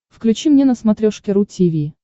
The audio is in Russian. включи мне на смотрешке ру ти ви